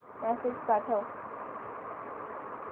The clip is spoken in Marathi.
मेसेज पाठव